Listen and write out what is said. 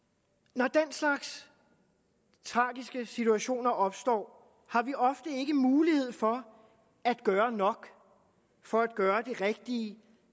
når den slags tragiske situationer opstår har vi ofte ikke mulighed for at gøre nok for at gøre det rigtige